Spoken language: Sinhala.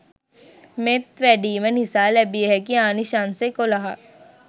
මෙත් වැඩීම නිසා ලැබිය හැකි ආනිශංස එකොළහක්